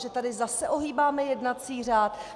Že tady zase ohýbáme jednací řád?